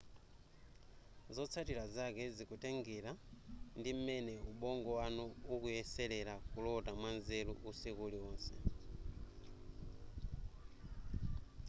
zotsatira zake zikutengera ndi m'mene ubongo wanu ukuyeselere kulota mwanzeru usiku uliwonse